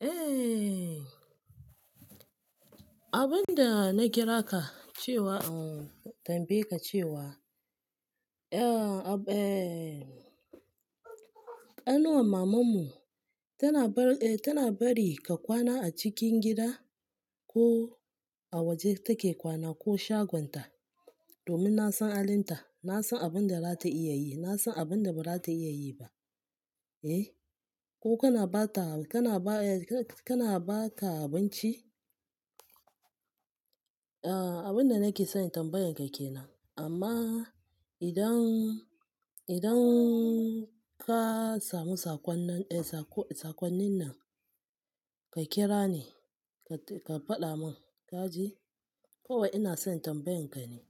Eh abunda na kira ka cewa hmm tambaye ka cewa eh ab eh ƙanuwan maman mu tana bar tana bari ka kwana a cikin gida ko a waje take kwana ko shagonta domin nasan halinta, nasan abunda zata iya yi, nasan abunda bazata iya yi ba. Eh ko kana bata kana baya ka kana bata abinci? Ah abunda nake son in tambayan ka kenan amma idan, idan ka samu sakon nan eh sako sakonnin nan ka kira ni ka fada mun kaji? Kowai ina son tambayan ka ne.